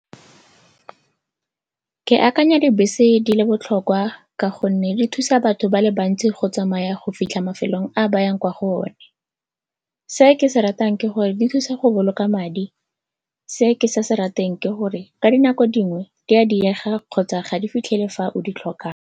Ke akanya dibese di le botlhokwa ka gonne di thusa batho ba le bantsi go tsamaya go fitlha mafelong a bayang kwa go one. Se ke se ratang ke gore di thusa go boloka madi, se ke sa se rateng ke gore ka dinako dingwe di a diega kgotsa ga di fitlhele fa o di tlhokang.